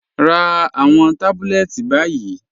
Rá àwọn tábùlẹ̀tì báyì.